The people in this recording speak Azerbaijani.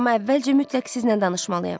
Amma əvvəlcə mütləq sizlə danışmalıyam.